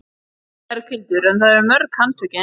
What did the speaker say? Berghildur: En það eru mörg handtökin?